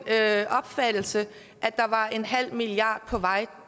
opfattelse at der var en halv milliard på vej